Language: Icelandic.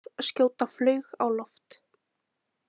Rússar skjóta flaug á loft